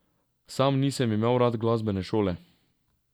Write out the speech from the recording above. Sam nisem imel rad glasbene šole.